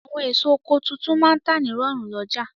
Àwọn èso oko tuntun máa n tà ní rọ̀rùn lọ́jà